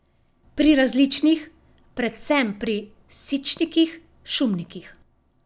Pri različnih, predvsem pri sičnikih, šumnikih.